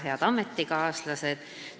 Head ametikaaslased!